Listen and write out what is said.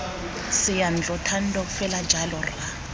seyantlo thando fela jalo rra